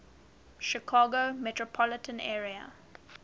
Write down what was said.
chicago metropolitan area